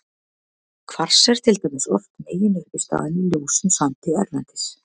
Kvars er til dæmis oft meginuppistaðan í ljósum sandi erlendis.